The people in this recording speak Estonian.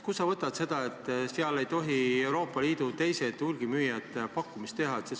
Kust sa võtad praeguste riigihangete puhul, et Euroopa Liidu teised hulgimüüjad ei või pakkumist teha?